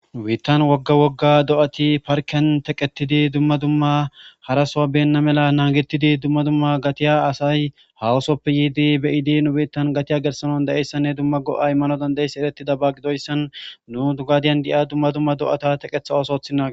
Nu biiththan wogga wogga do7athi parkken theqeththidi dumma dumma hara sohuwa beenna mela naagethide dumma dumma gathiya asay haaho sohappe yiidi be7idi nu biiththan gathiya gellissana danddayesinne dumma go7aa immanaas ereththidaba gidoyssan nu gadiyan de7iya dumma dumma ttheqeththa ooso ooththinage.